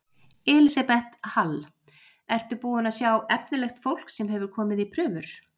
Elísabet Hall: Ertu búinn að sjá efnilegt fólk sem hefur komið í prufur?